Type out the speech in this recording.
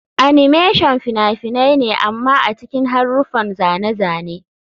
Animation fina-finai ne amma a cikin haruffan zane-zane.